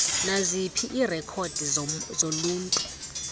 naziphi iirekhodi zoluntu